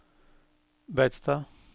Beitstad